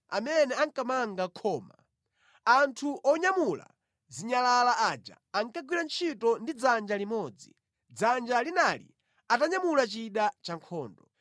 amene ankamanga khoma. Anthu onyamula zinyalala aja ankagwira ntchito ndi dzanja limodzi, dzanja linali atanyamula chida chankhondo.